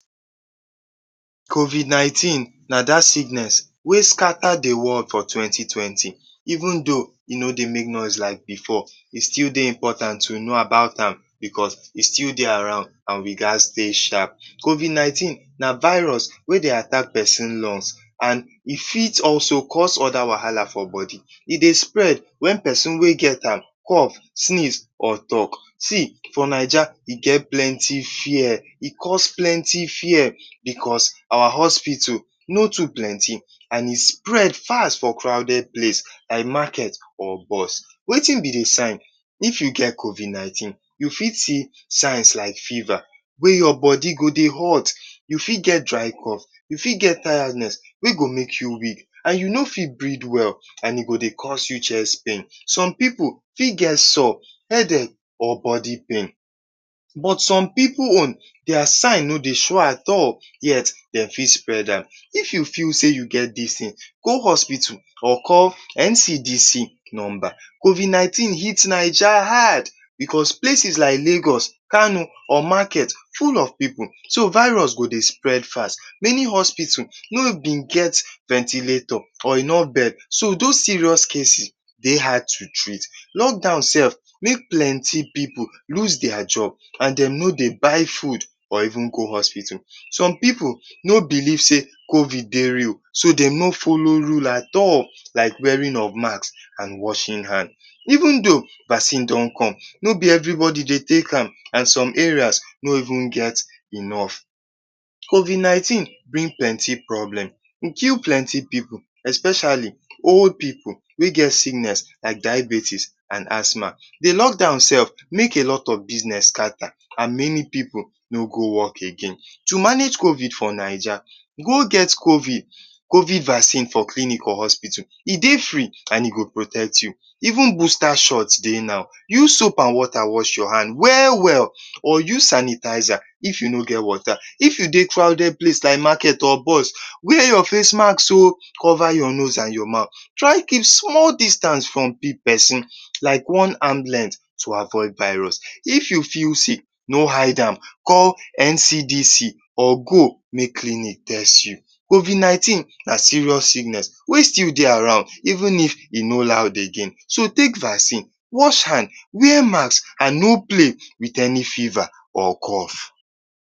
Covid nineteen na that sickness wey scatter the world for twenty twenty. Even though e no dey make noise like before, e still dey important to know about am because e still dey around and we gats dey sharp. Covid nineteen na virus wey dey attack pesin lung and e fit also cause other wahala for body. E dey spread when pesin wey get am cough, sneeze or talk. For Naija, e cause plenty fear because our hospital no too plenty and e spread fast for crowded place like market or bus. Wetin be the sign? If you get covid nineteen, you fit see signs like fever wey your body go dey hot. You fit get dry cough. You get tiredness wey go make you weak and you no fit breathe well and e go dey cause you chest pain. Some pipu fit get headache or body pain, but some pipu own, their sign no dey show at all yet dem fit spread am. If you feel say you get this thing, go hospital or call NCDC number. Covid nineteen hit Naija hard because places like Lagos, Kano or market full of pipu so virus go dey spread fast. Many hospital no been get ventilator or no bed, so those serious cases dey hard to treat. Lockdown sef make plenty pipu lose their job and dem no dey buy food or even go hospital. Some pipu no believe say covid dey real, so dem no follow rule at all, like wearing of mask, washing hand. Even though vaccine don come, no be everybody dey take am and some areas no even get enough. Covid nineteen get plenty problem. E kill plenty pipu especially old pipu wey get sickness like diabetes and asthma. The lockdown sef make a lot of business scatter and many pipu no go work again. To manage covid for Naija: Go get covid vaccine for clinic or hospital. E dey free and e go protect you. Even booster shot dey now. Use soap and water wash your hands well well or use sanitizer if you no get water. If you dey crowded place like market or bus, wear your face mask oh. Cover your nose and your mouth. Try keep small distance from pesin, like one arm length, to avoid virus. If you feel sick, no hide am. Call NCDC or go make clinic test you. Covid nineteen na serious sickness wey still dey around, even though e no loud again. So, take vaccine, wash hand, wear mask and no play with any fever or cough.